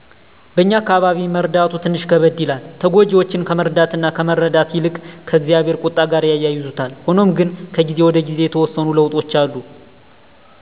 በእኛ አካባቢ መረዳቱ ትንሽ ከበደ ይላል። ተጎጅወችን ከመረዳት እና ከመረዳት ይልቅ ከ እግዚአብሄር ቁጣ ጋር ያያይዙታል። ሁኖም ግነ ከጊዜ ወደ ጊዜ የተወሰኑ ለዉጦች አሉ